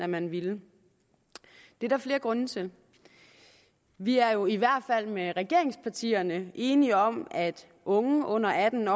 man ville det er der flere grunde til vi er jo i hvert fald med regeringspartierne enige om at unge under atten